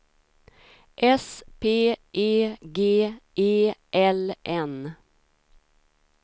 S P E G E L N